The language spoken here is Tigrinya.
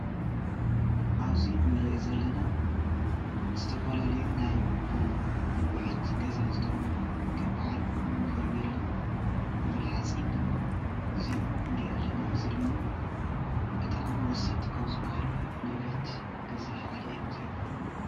ኣብዚ እንሪኦ ዘለና ዝተፈላለዩ ናይ ንኣቁሑት ገዛ ዝጠቅሙና ከም በዓል ፈርኔሎ፣ ሞቅሎ ሓፂን እዚኦም ንርኢ አለና፡፡ እዚኦም ድማ ብጣዕሚ ወሰንቲ ካብ ዝባሃሉ ንብረት ገዛ እዮም እዚኦም፡፡